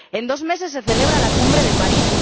En dos meses se celebra la Cumbre de París.